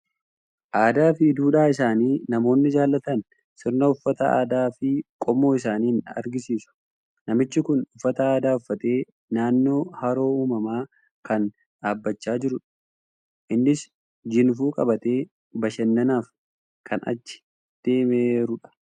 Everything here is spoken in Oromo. Aadaa fi duudhaa isaanii namoonni jaalatan sirna uffata uummataa fi qomoo isaaniin agarsiisu. Namichi kun uffata aadaa uffatee naannoo haroo uumamaa kan dhaabachaa jirudha. Innis jinfuu qabatee bashannanaaf kan achi deemeerudha.